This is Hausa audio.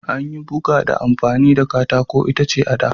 An yi buga ta amfani da katakon itace a da.